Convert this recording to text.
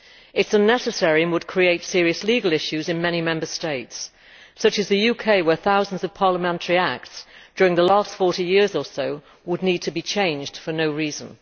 It is unnecessary and would create serious legal issues in many Member States such as the UK, where thousands of parliamentary acts during the last 40 years or so would need to be changed for no reason.